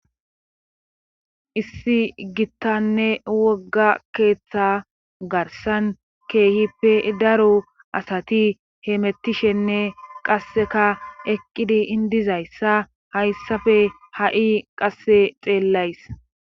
issi gittanne wogga keeththa garsan keehippe daro asati heemettishenne qasseka eqqidi indizayssa hayssafe ha7i qasse xeellays